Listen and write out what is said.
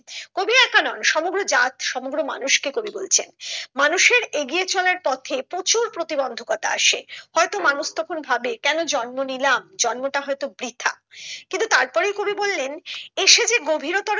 কবি এক নন সমগ্র জাত সমগ্র মানুষ কে কবি বলছেন মানুষের এগিয়ে চলার পথে প্রচুর প্রতিবন্ধকতা আসে হয়তো মানুষ তখন ভাবে কেন জন্ম নিলাম জন্মটা হয়তো বৃথা কিন্তু তারপরেই কবি বললেন এসে যে গভীরতর